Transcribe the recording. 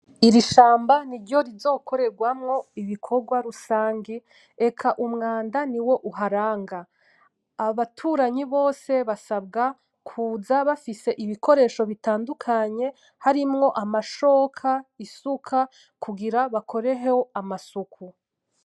Iri shamba ni ryo rizokorerwamwo ibikorwa rusange, eka umwanda niwo uharanga abaturanyi bose basabwa kuza bafise ibikoresho bitandukanye harimwo amashoka, isuka kugira bakoreho amasuku.